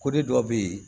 Ko de dɔ bɛ yen